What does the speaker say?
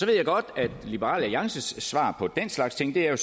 jeg godt at liberal alliances svar på den slags ting er at